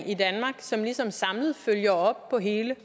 i danmark som ligesom samlet følger op på hele